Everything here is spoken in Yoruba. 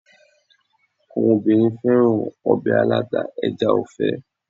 Àwọn obìnrin féràn ọbẹ̀ aláta ẹja ọ̀fẹ́.